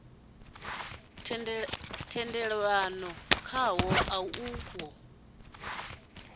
tendelanwaho khawo a u ho